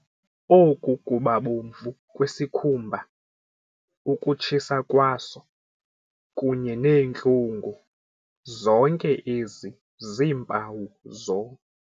Oku kubabomvu kwesikhumba, ukutshisa kwaso, kunye neentlungu, zonke ezi ziimpawu zo ].